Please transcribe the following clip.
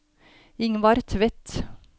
Ingvar Tvedt